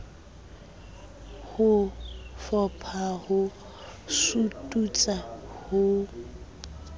ho fopha ho sututsa ho